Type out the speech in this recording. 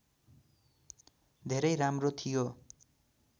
धेरै राम्रो थियो